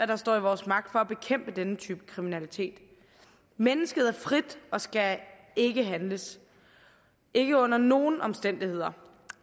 der står i vores magt for at bekæmpe denne type kriminalitet mennesket er frit og skal ikke handles ikke under nogen omstændigheder